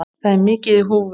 Það er mikið í húfi.